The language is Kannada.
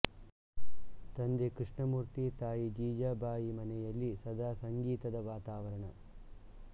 ತಂದೆ ಕೃಷ್ಣ ಮೂರ್ತಿ ತಾಯಿ ಜೀಜಾಬಾಯಿಮನೆಯಲ್ಲಿ ಸದಾ ಸಂಗೀತದ ವಾತಾವರಣ